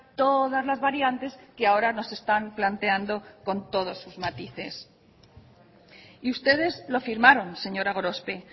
todas las variantes que ahora nos están planteando con todos sus matices y ustedes lo firmaron señora gorospe